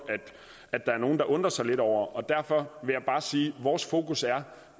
at der er nogle der undrer sig lidt over og derfor vil jeg bare sige at vores fokus er